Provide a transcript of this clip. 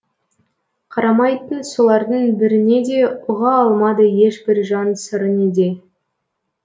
қарамайтын солардың біріне де ұға алмады ешбір жан сыры неде